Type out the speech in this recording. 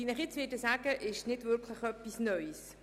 Was ich Ihnen nun sagen werde, ist nicht wirklich neu.